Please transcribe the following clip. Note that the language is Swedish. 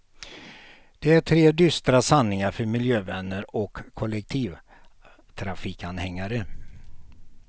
Det är tre dystra sanningar för miljövänner och kollektivtrafikanhängare.